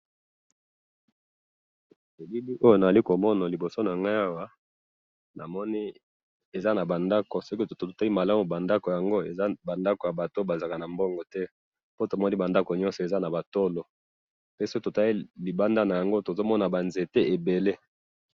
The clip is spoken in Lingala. Na moni ba ndako ya manzanza na ba nzete ebele.